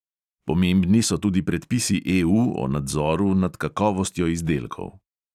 Pomembni so tudi predpisi EU o nadzoru nad kakovostjo izdelkov.